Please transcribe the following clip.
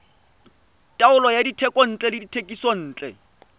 taolo ya dithekontle le dithekisontle